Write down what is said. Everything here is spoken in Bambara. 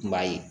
I b'a ye